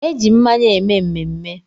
Eji mmanya eme mmemme.